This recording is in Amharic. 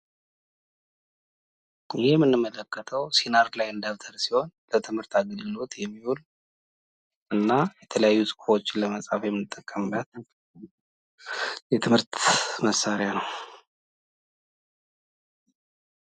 ይሄ የምንመለከተው ሲነርላይን ደብተር ሲሆን ለትምህርት አገልግሎት የሚውል እና የተለያዩ ጽሁፎችን ለመጻፍ የምጠቀምበት የትምህርት መሳሪያ ነው።